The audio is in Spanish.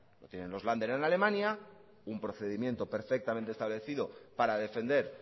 tienen los lander en alemania un procedimiento perfectamente establecido para defender